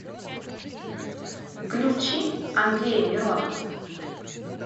включи андрея миронова